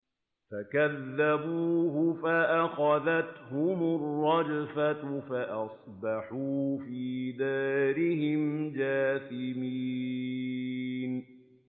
فَكَذَّبُوهُ فَأَخَذَتْهُمُ الرَّجْفَةُ فَأَصْبَحُوا فِي دَارِهِمْ جَاثِمِينَ